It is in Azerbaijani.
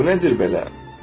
Bu nədir belə?